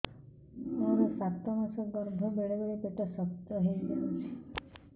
ମୋର ସାତ ମାସ ଗର୍ଭ ବେଳେ ବେଳେ ପେଟ ଶକ୍ତ ହେଇଯାଉଛି